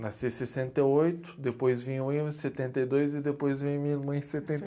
Nasci em sessenta e oito, depois vim setenta e dois e depois vim minha irmã em